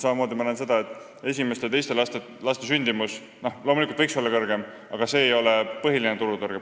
Samamoodi ma näen, et esimeste ja teiste laste sündimus võiks loomulikult kõrgem olla, aga seal ei ole põhiline turutõrge.